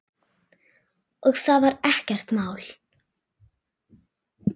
Og það var ekkert mál.